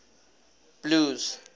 blues